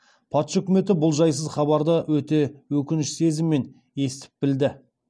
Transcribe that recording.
патша үкіметі бұл жайсыз хабарды өте өкініш сезімімен естіп білді